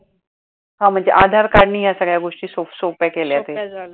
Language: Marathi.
हा म्हणजे आधार card नी ह्या सगळ्या गोष्टी सोप्प्या केल्या